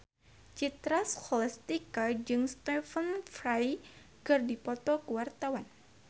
Citra Scholastika jeung Stephen Fry keur dipoto ku wartawan